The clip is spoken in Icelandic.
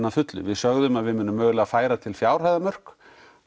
að fullu við sögðum að við munum mögulega færa til fjárhæðarmörk